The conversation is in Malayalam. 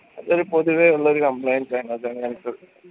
ഒരു പൊതുവെയുള്ളൊരു complaints ആണ് അത് അങ്ങനത്തത്